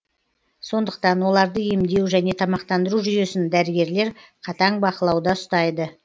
сондықтан оларды емдеу және тамақтандыру жүйесін дәрігерлер қатаң бақылауда ұстайды